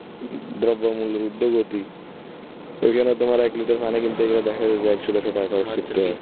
দ্রব্যমূল্যের উর্ধ্বগতি ওইখানে তোমার এক লিটার পানি কিনতে গেলে দেখা যায় যে একশো দেড়শো টাকা আচ্ছা ঠিকাছে